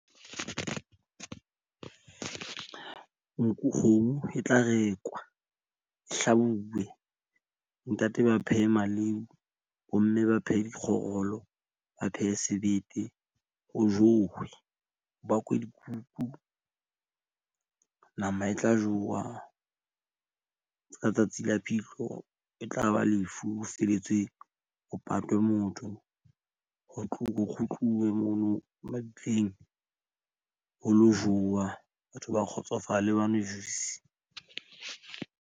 Nku, kgomo e tla rekwa hlabuwe. Ntate ba phehe maleu, bomme ba phehe dikgorolo, Ba phehe sebete. Ho jowe ho bakwe dikuku. Nama e tla jowa. Ka tsatsi la phihlo e tla ba lefu felletswe. Ho patwa motho ho ho kgutluwe mono mabitleng. Ho lo jowa. Batho ba kgotsofale ba nwe juice.